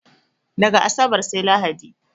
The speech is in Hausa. Daga asabar sai lahadi